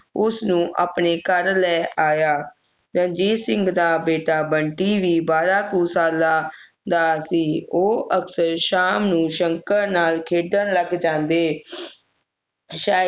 ਉਸਨੂੰ ਆਪਣੇ ਘਰ ਲੈ ਆਇਆ ਰਣਜੀਤ ਸਿੰਘ ਦਾ ਬੀਟਾ ਬੰਟੀ ਵੀ ਬਾਰਾਂ ਕੁ ਸਾਲਾਂ ਦਾ ਸੀ ਉਹ ਅਕਸਰ ਸ਼ਾਮ ਨੂੰ ਸ਼ੰਕਰ ਨਾਲ ਖੇਡਣ ਲੱਗ ਜਾਂਦੇ ਸ਼ਾਏ